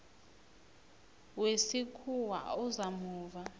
wesikhuwa oza muva